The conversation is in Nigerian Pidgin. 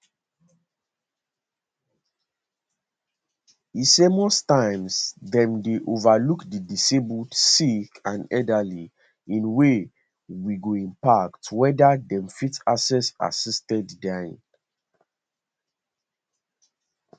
e say most times dem dey overlook di disabled sick and elderly in way we go impact weda dem fit access assisted dying